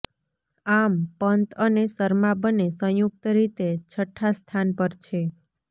આમ પંત અને શર્મા બંને સંયુક્ત રીતે છઠ્ઠા સ્થાન પર છે